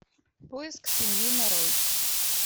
поиск семьи нарой